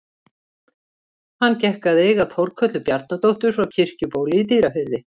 Hann gekk að eiga Þórkötlu Bjarnadóttur frá Kirkjubóli í Dýrafirði.